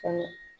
Kɔnɔ